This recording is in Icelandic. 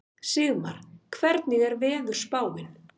Sigmar, hvernig er veðurspáin?